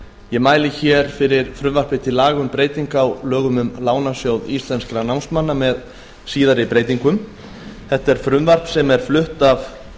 ég mæli fyrir frumvarpi til laga um breytingu á lögum um lánasjóð íslenskra námsmanna númer tuttugu og eitt nítján hundruð níutíu og tvö með síðari breytingum þetta frumvarp er flutt af